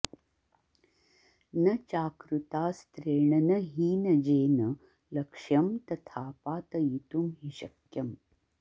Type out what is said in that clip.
न चाकृतास्त्रेण न हीनजेन लक्ष्यं तथा पातयितुं हि शक्यम्